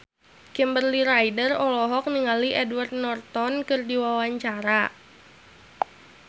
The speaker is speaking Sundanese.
Kimberly Ryder olohok ningali Edward Norton keur diwawancara